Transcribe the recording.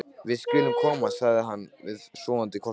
Við skulum komast, sagði hann við sofandi hvolpinn.